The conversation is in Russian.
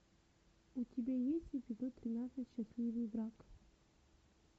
у тебя есть эпизод тринадцать счастливый брак